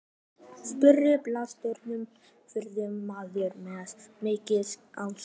spurði bílstjórinn, fullorðinn maður með mikið alskegg.